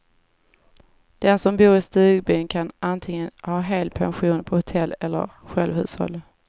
Den som bor i stugbyn kan antingen ha helpension på hotellet eller självhushåll.